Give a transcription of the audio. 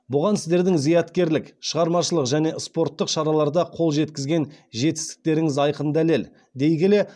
бұған сіздердің зияткерлік шығармашылық және спорттық шараларда қол жеткізген жетістіктеріңіз айқын дәлел дей келе